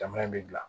Jamana in bɛ bila